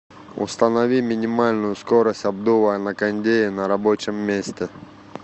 установи минимальную скорость обдува на кондее на рабочем месте